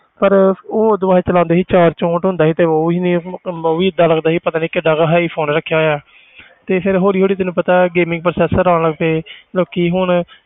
ਪਰ ਉਹ ਉਹ ਤੋਂ ਬਾਅਦ ਚਲਾਉਂਦੇ ਸੀ ਸ਼ਾਇਦ ਚੋਂਹਠ ਹੁੰਦਾ ਸੀ ਤੇ ਉਹ ਵੀ ਨੀ ਉਹ ਵੀ ਏਦਾਂ ਲੱਗਦਾ ਸੀ ਪਤਾ ਨੀ ਕਿੱਡਾ ਕੁ high phone ਰੱਖਿਆ ਹੋਇਆ ਤੇ ਫਿਰ ਹੌਲੀ ਹੌਲੀ ਤੈਨੂੰ ਪਤਾ ਹੈ gaming processor ਆਉਣ ਲੱਗ ਪਏ ਲੋਕੀ ਹੁਣ,